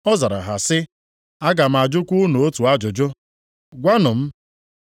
Ọ zara ha sị, “Aga m ajụkwa unu otu ajụjụ. Gwanụ m,